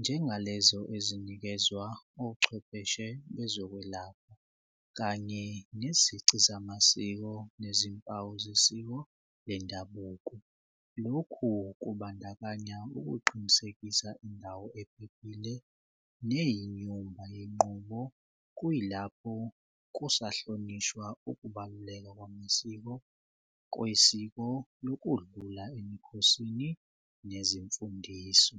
njengalezo ezinikezwa ochwepheshe bezokwelapha kanye nezici zamasiko nezimpawu zesiko lendabuko. Lokhu kubandakanya ukuqinisekisa indawo ephephile neyinyumba yenqubo kuyilapho kusahlonishwa ukubaluleka kwamasiko kwesiko lokudlula emikhosini nezimfundiso.